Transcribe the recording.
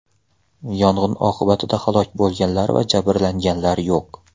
Yong‘in oqibatida halok bo‘lganlar va jabrlanganlar yo‘q.